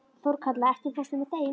Þorkatla, ekki fórstu með þeim?